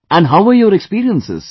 How were your experiences